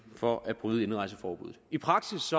for at bryde indrejseforbuddet i praksis